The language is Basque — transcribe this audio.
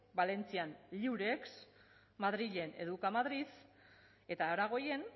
valentzian lliurex madrilen educamadrid eta aragoien